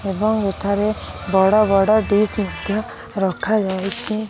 ଏବଂ ଏଠାରେ ବଡ଼ ବଡ଼ ଡ଼ିସ୍ ମଧ୍ୟ ରଖା ଯାଇଛି।